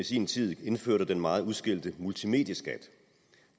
i sin tid indførte den meget udskældte multimedieskat